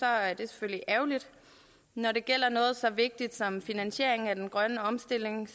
er det selvfølgelig ærgerligt når det gælder noget så vigtigt som finansieringen af den grønne omstilling